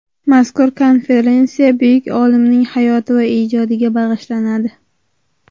Mazkur konferensiya buyuk olimning hayoti va ijodiga bag‘ishlanadi.